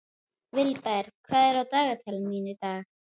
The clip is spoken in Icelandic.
Vilberg, hvað er á dagatalinu mínu í dag?